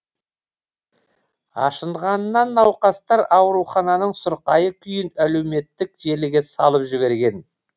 ашынғанынан науқастар аурухананың сұрқайы күйін әлеуметтік желіге салып жіберген